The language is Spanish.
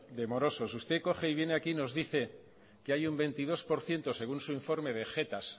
de morosos usted coge y viene aquí y nos dice que hay un veintidós por ciento según su informe de jetas